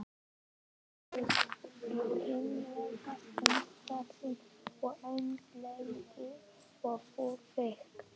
Bakist í vinalegu umhverfi og eins lengi og þurfa þykir.